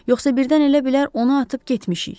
Yoxsa birdən elə bilər ona atıb getmişik.